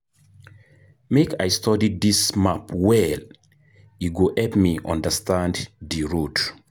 Make I study dis map well, e go help me understand di road.